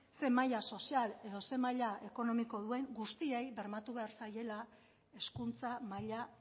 zein maila sozial edo zein maila ekonomiko duen guztiei bermatu behar zaiela hezkuntza maila